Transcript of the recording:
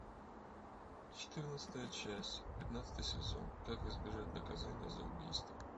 четырнадцатая часть пятнадцатый сезон как избежать наказания за убийство